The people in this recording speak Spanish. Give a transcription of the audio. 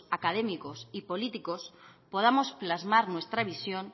académicos y políticos podamos plasmar nuestra visión